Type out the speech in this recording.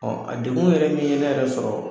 a dekun yɛrɛ min ye nɛ yɛrɛ sɔrɔ